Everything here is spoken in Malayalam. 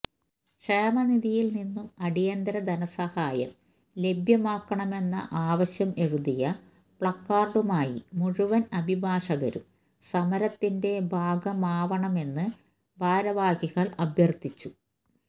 ക്ഷേമനിധിയില് നിന്നും അടിയന്തര ധനസഹായം ലഭ്യമാക്കണമെന്ന ആവശ്യം എഴുതിയ പ്ലക്കാര്ഡുമായി മുഴുവന് അഭിഭാഷകരും സമരത്തിന്റെ ഭാഗമാവണമെന്ന് ഭാരവാഹികള് അഭ്യര്ത്ഥിച്ചു